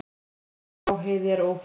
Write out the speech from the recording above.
Vegurinn um Lágheiði er ófær.